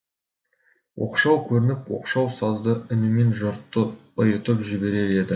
оқшау көрініп оқшау сазды үнімен жұртты ұйытып жіберер еді